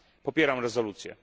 Popieram rezolucję.